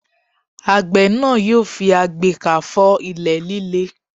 Àgbẹ̀ náà yóò fi agbekà fọ́ ilẹ̀ líle.